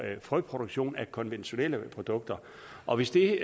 frøproduktion med konventionelle produkter og hvis det